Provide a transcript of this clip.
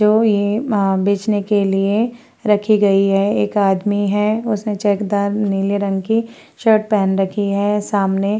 जो ये म बेचने के लिए रखी गई है एक आदमी है उसने चैकदार नीले रंग की शर्ट पहन रखी है सामने।